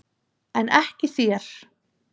En ekki þér!